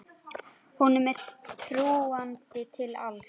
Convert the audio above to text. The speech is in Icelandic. Honum er trúandi til alls.